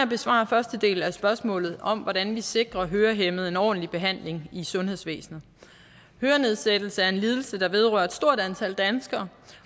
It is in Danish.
besvare første del af spørgsmålet om hvordan vi sikrer hørehæmmede en ordentlig behandling i sundhedsvæsenet hørenedsættelse er en lidelse der vedrører et stort antal danskere